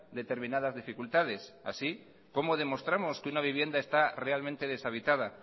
determinadas dificultades así cómo demostramos que una vivienda está realmente deshabitada